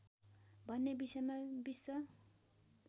भन्ने विषयमा विश्व